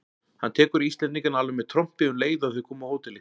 Hann tekur Íslendingana alveg með trompi um leið og þeir koma á hótelið!